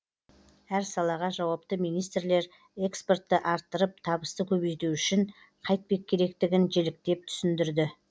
әр салаға жауапты министрлер экспортты арттырып табысты көбейту үшін қайтпек керектігін жіліктеп түсіндірді